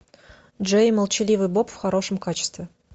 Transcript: джей и молчаливый боб в хорошем качестве